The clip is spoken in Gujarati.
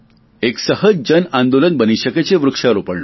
એક સહજ જન આંદોલન બની શકે છે વૃક્ષારોપણનું